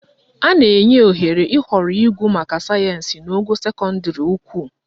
A na-enye ohere ịhọrọ ịgụ maka sayensị n'ogo sekọndịrị ukwu